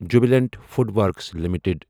Jubilant FoodWorks limited